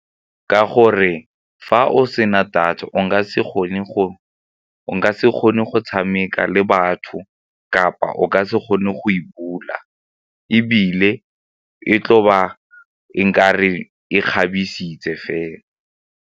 Ka gore fa o sena data se kgone go tshameka le batho kapa o ka se kgone go e bula ebile e tlo ba e ka re e kgabisitse fela.